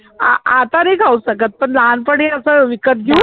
आ आता नाही खाऊ शकत पण लहानपणी असं विकत घेऊन घेऊन